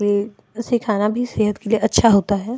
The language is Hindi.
ये सीखाना भी सेहत के लिए अच्छा होता है।